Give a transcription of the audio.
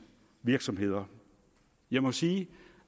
virksomheder jeg må sige